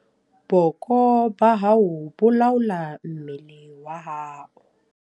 Booko ba hao bo laola mmele wa hao.